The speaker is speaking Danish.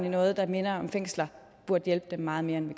i noget der minder om fængsler burde hjælpe dem meget mere end